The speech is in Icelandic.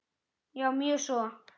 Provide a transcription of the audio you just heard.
Já, mjög svo.